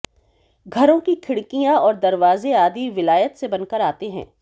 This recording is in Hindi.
घरों की खिड़कियां और दरवाजे आदि विलायत से बनकर आते हैं